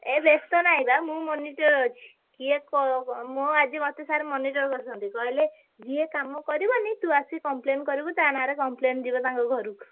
ଏ ବେସ୍ତ ନାହିଁ ବା ମୁଁ monitor ଅଛି କିଏ ~କ ମୋ ଆଜି ମତେ sir monitor କରିଛନ୍ତି କହିଲେ ଯିଏ କାମ କରିବନି ତୁ ଆସି complain କରିବୁ ତା ନାଁରେ complain ଯିବ ତାଙ୍କ ଘରୁକୁ।